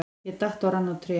Ég datt og rann á tré.